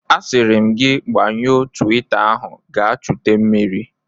A siri m gi gbanyụọ twita ahu gaa chute mmiri!